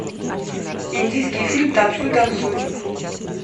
индийский фильм танцуй танцуй